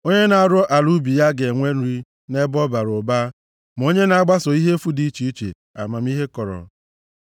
Onye na-arụ ala ubi ya ga-enwe nri nʼebe ọ bara ụba, ma onye na-agbaso ihe efu dị iche iche, amamihe kọrọ.